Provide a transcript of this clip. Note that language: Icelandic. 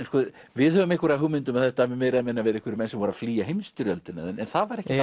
við höfum einhverja hugmynd um að þetta hafi meira eða minna verið menn sem voru að flýja heimsstyrjöldina en það var ekkert